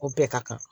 O bɛɛ ka kan